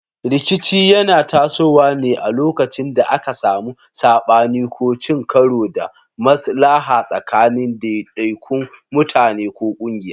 Rikici yana tasowa ne a lokacin da aka samu sabani ko cin karo da maslaha tsakanin daidaikun mutane ko kungiyoyi.